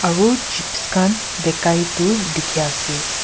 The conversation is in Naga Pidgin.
aro chips khan bikai tu dikhi ase.